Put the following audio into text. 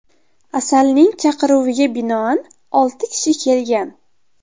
Asalning chaqiruviga binoan olti kishi kelgan.